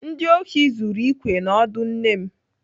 Ndị ohi zuru ikwe na ọdụ nne m.